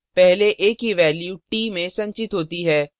पहले a की value t में संचित होती है